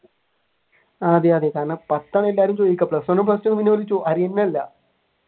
ആഹ് അതെ അതെ കാരണം പത്താണ് എല്ലാരും ചോദിക്കുക plus one, plus two ആർക്കും വേണ്ട